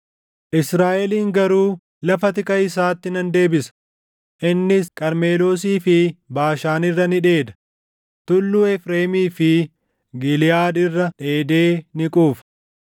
Israaʼelin garuu lafa tika isaatti nan deebisa; innis Qarmeloosii fi Baashaan irra ni dheeda; tulluu Efreemii fi Giliʼaad irra dheedee ni quufa.